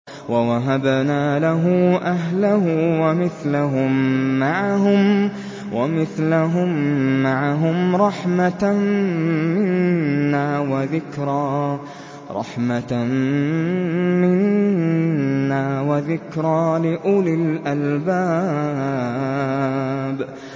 وَوَهَبْنَا لَهُ أَهْلَهُ وَمِثْلَهُم مَّعَهُمْ رَحْمَةً مِّنَّا وَذِكْرَىٰ لِأُولِي الْأَلْبَابِ